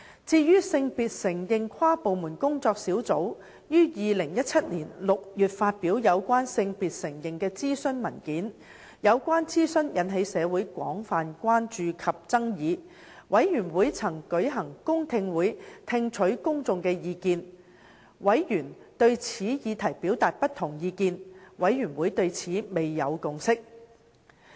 至於性別承認跨部門工作小組於2017年6月發表有關性別承認的諮詢文件，有關諮詢引起社會廣泛關注及爭議，事務委員會曾舉行公聽會聽取公眾的意見；委員對此議題表達不同意見，事務委員會對此未有共識。